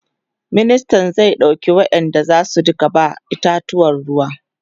ministan zai ɗauki wayanda zasu Rika ba itatuwan ruwa